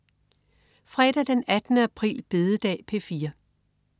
Fredag den 18. april. Bededag - P4: